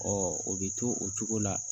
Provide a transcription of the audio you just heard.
Ɔ o bɛ to o cogo la